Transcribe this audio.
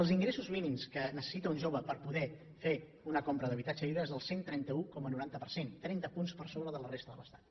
els ingressos mínims que necessita un jove per poder fer una compra d’habitatge lliure és del cent i trenta un coma noranta per cent trenta punts per sobre de la resta de l’estat